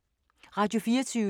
Radio24syv